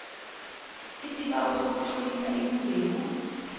isibawo sokutlolisa ilungelo